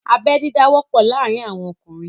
Abẹ́ dídá wọ́pọ̀ láàárín àwọn ọkùnrin